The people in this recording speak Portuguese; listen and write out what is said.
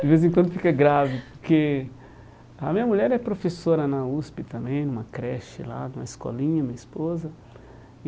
De vez em quando fica grave, porque a minha mulher é professora na USP também, numa creche lá, numa escolinha, minha esposa. E